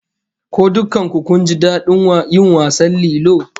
Ko dukkan ku kun ji dadin yin wasan lilo?